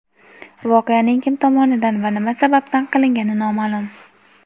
Voqeaning kim tomonidan va nima sababdan qilingani noma’lum.